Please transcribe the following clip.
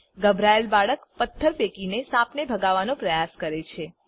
ગભરાયેલ બાળક પથ્થર ફેંકીને સાપને ભગાવવાનો પ્રયાસ કરે છે